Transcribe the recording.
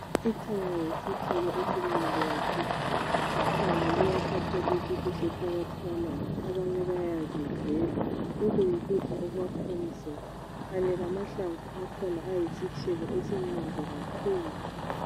Ithanga yisithelo esimnandi kakhulu. Ithanga liyathathwa libiliswe phakathi kwamanzi ,abanye bayazidlela .Lokhu yikudla okwakha umzimba , Kanye amahlamvu akhona ayisitshebo esimnandi kakhulu.